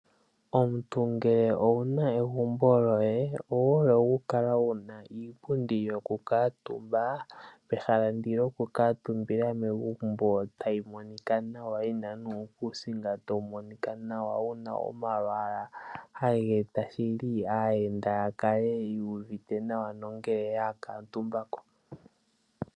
Omuntu ngele owu na egumbo lyoye owu hole okukala wu na iipundi yokukuutumba mehala lyokukuutumba megumbo tali monika nawa, yi na nuukuusinga tawu monika nawa wu na omalwaala haga eta shili aayenda ya kale yu uvite nawa ngele ya kuutumba ko.